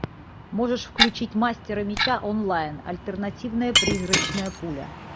можешь включить мастера меча онлайн альтернативная призрачная пуля